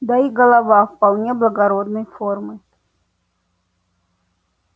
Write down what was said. да и голова вполне благородной формы